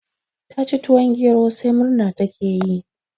Ta ci tuwon gero sai murna ta ke yi